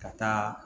Ka taa